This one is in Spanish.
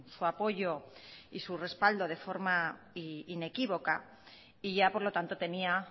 su apoyo y su respaldo de forma inequívoca y ya por lo tanto tenía